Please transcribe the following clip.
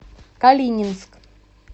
калининск